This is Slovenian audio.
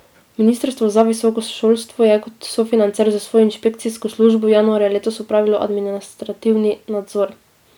Ministrstvo za visoko šolstvo je kot sofinancer s svojo inšpekcijsko službo januarja letos opravilo administrativni nadzor.